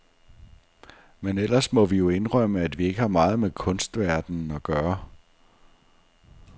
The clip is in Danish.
Men ellers må vi jo indrømme, at vi ikke har meget med kunstverdenen at gøre.